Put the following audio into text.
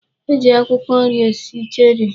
E ji akwụkwọ nri esi cherie.